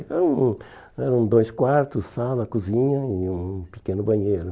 Eram eram dois quartos, sala, cozinha e um pequeno banheiro.